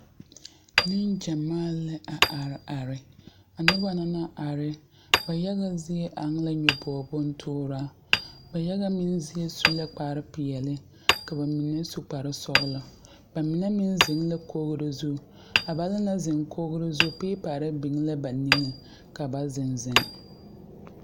Nenɡyamaa la a areare a noba na naŋ are ba yaɡa zie eŋ la nyoboɡo bontuuraa ba yaɡa zie meŋ su la kparpeɛle ka ba mine su kparsɔɔlɔ ba mine meŋ zeŋ la koɡiro zu a ba naŋ na zeŋ a koɡiro zu peepare biŋ la ba niŋeŋ ka ba zeŋzeŋ.